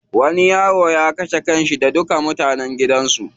Wani yaro ya kashe kanshi da duka mutanen gidan su.